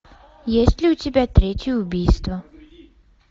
есть ли у тебя третье убийство